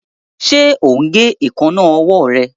Ṣe o ń gé Èékánná ọwọ́ rẹ.